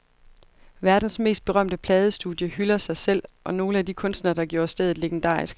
Verdens mest berømte pladestudie hylder sig selv og nogle af de kunstnere, der gjorde stedet legendarisk.